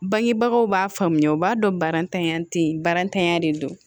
Bangebagaw b'a faamuya u b'a dɔn barantanya tɛ barantanya de don